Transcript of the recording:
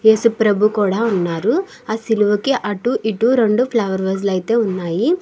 ఏసుప్రభు కూడా ఉన్నారు. ఆ సిలువకి అటు ఇటు రెండు ఫ్లవర్ వాసు లు అయితే వున్నాయి.